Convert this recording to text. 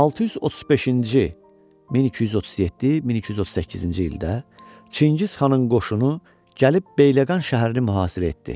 635-ci, 1237, 1238-ci ildə Çingiz xanın qoşunu gəlib Bəyləqan şəhərini mühasirə etdi.